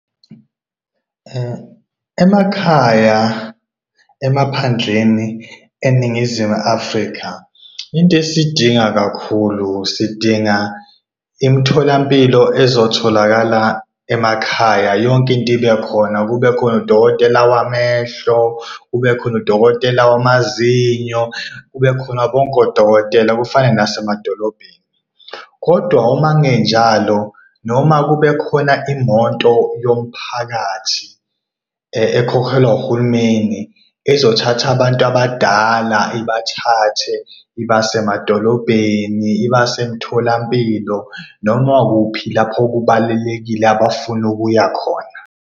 Emakhaya, emaphandleni eNingizimu Afrika intesiyidinga kakhulu sidinga imitholampilo ezitholakala emakhaya, yonkinto ibe khona. Kube khona udokotela wamehlo, kube khona udokotela wamazinyo, kube khona bonke odokotela kufane nasemadolobheni. Kodwa uma kungenjalo noma kube khona imoto yomphakathi, ekhokhelwa wurhulumeni ezothatha abantu abadala ibathathe ibase emadolobheni, ibase emtholampilo noma kuphi lapho kubalulekile abafuna ukuyakhona.